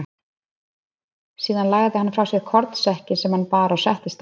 Síðan lagði hann frá sér kornsekkinn sem hann bar og settist á hann.